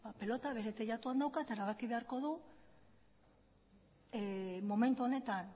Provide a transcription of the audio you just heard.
pelota bere teilatuan dauka eta erabaki beharko du momentu honetan